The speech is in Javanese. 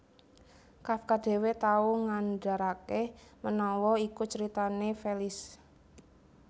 Kafka dhéwé tau ngandharaké menawa iku caritané Felice